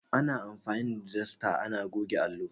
Ana anfani da dasta ana goge allo.